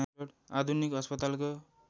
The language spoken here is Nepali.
आधुनिक अस्पतालको